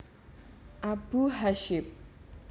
Abu Hasyim